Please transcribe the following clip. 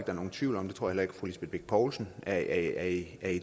er nogen tvivl om det tror jeg heller ikke fru lisbeth bech poulsen er i